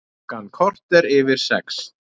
Klukkan korter yfir sex